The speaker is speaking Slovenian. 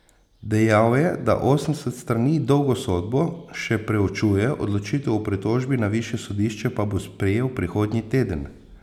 Dejal je, da osemdeset strani dolgo sodbo še preučuje, odločitev o pritožbi na višje sodišče pa bo sprejel prihodnji teden.